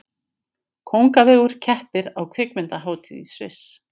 Kóngavegur keppir á kvikmyndahátíð í Sviss